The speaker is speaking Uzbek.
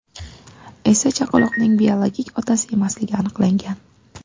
esa chaqaloqning biologik otasi emasligi aniqlangan.